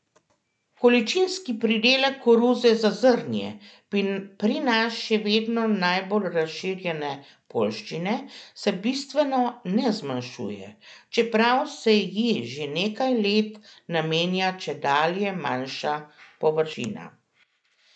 Količinski pridelek koruze za zrnje, pri nas še vedno najbolj razširjene poljščine, se bistveno ne zmanjšuje, čeprav se ji že nekaj let namenja čedalje manjša površina.